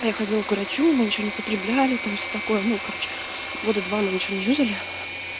а я ходила к врачу мы ничего не употребляли там все такое ну короче года два мы ничего не юзали